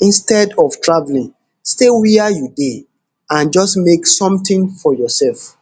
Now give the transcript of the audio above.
instead of travelling stay wia you dey and just make somtin for yoursef